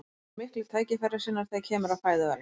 þessi dýr eru miklir tækifærissinnar þegar kemur að fæðuvali